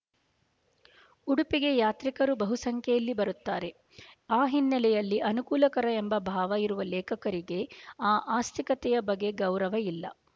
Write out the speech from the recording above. ಉಡುಪಿಗೆ ಯಾತ್ರಿಕರು ಬಹುಸಂಖ್ಯೆಯಲ್ಲಿ ಬರುತ್ತಾರೆ ಆ ಹಿನ್ನೆಲೆಯಲ್ಲಿ ಅನುಕೂಲಕರ ಎಂಬ ಭಾವ ಇರುವ ಲೇಖಕರಿಗೆ ಆ ಆಸ್ತಿಕತೆಯ ಬಗ್ಗೆ ಗೌರವ ಇಲ್ಲ